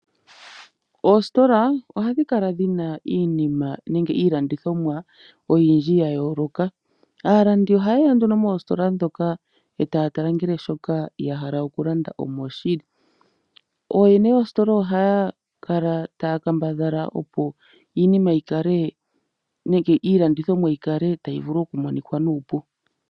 Oositola ohadhikala dhina iinima nenge iilandithomwa oyindji yayooloka. Aalandi ohayeya moositola moka eta ya tala ngele shoka yahala okulanda omoshili. Ooyene yoositola ohayakala taya kambadhala opo iinima nenge iilandithomwa yikale tayimonika nuupu.